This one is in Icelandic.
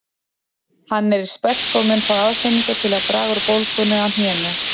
Hann er í spelku og mun fá aðhlynningu til að draga úr bólgunni á hnénu